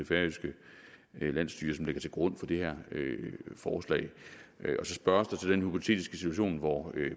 færøske landsstyre som ligger til grund for det her forslag der spørges så til den hypotetiske situation hvor